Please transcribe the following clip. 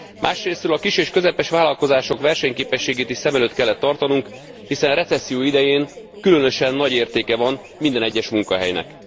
Másrészről a kis és közepes vállalkozások versenyképességét is szem előtt kellett tartanunk, hiszen recesszió idején különösen nagy értéke van minden egyes munkahelynek.